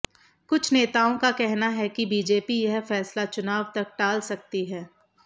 कुछ नेताओं का कहना है कि बीजेपी यह फैसला चुनाव तक टाल सकती है